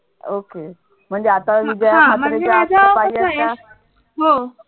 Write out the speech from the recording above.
हो